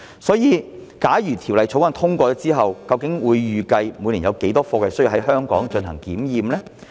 所以，假如《條例草案》獲通過，政府預計每年有多少貨櫃需要在香港進行檢驗？